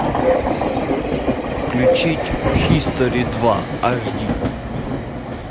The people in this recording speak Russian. включить хистори два аш ди